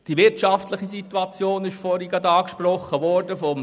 Die wirtschaftliche Situation des Tourismus ist soeben angesprochen worden.